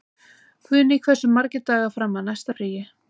Guðný, hversu margir dagar fram að næsta fríi?